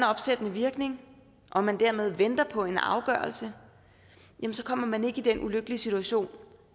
opsættende virkning og man dermed venter på en afgørelse kommer man ikke i den ulykkelige situation